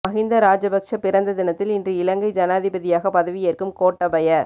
மஹிந்த ராஜபக்ஷ பிறந்த தினத்தில் இன்று இலங்கை ஜனாதிபதியாக பதவி ஏற்கும் கோட்டாபய